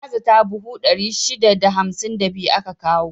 Na zata buhu 652 aka kawo.